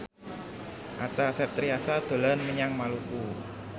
Acha Septriasa dolan menyang Maluku